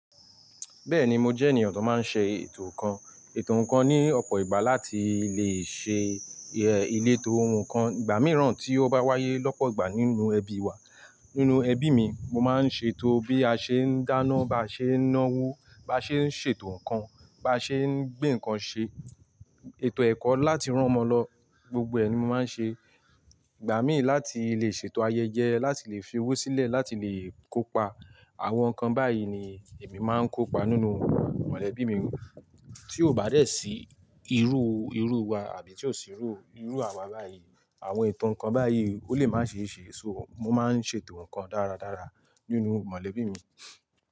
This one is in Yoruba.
Bẹ́ẹ̀ni, mo jẹ́ ènìyàn tó máa ń ṣe ètò ǹkan, ètò ǹkan ní ọ̀pọ̀ ìgbà láti lè ṣe ilétó ǹkan. Ìgbà mìíràn tí ó bá wáyé lọ́pọ̀ ìgbà nínú ẹbí wa, nínú ẹbí mi, mo máa ń ṣe ètò bí a ṣe ń dáná, bá ṣe ń náwó, bá ṣe ń ṣe ètò ǹkan, bá ṣe ń gbé ǹkan ṣe, ètò ẹ̀kọ́ láti rán ọmọ lọ, gbogbo ẹ ni mo máa ń ṣe. Ìgbà míì láti lè ṣe ètò ayẹyẹ láti lè fi owó sílẹ̀, láti lè kópa àwọn ǹkan báyìí ni èmi máa ń kópa nínú mọ̀lẹ́bí mi. Tí ó bá dẹ́ sí irú, irú wa àbí tí ó sì rú irú àwa báyìí, àwọn ètò ǹkan báyìí ó lè má ṣe é ṣe, so mo máa ń ṣe ètò ǹkan dára dára nínú mọ̀lẹ́bí mi.